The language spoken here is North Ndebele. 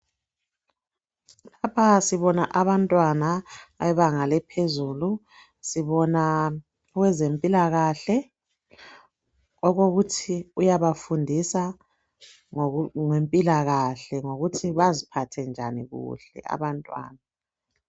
Lapha sibona abantwana bebanga lephezulu sibona owezempilakahke okokuthi uyabafundisa ngempilakahle ngokuthi baziphathe njani kuhle abantwana.